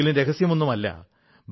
അല്ലെങ്കിലും രഹസ്യമൊന്നുമല്ല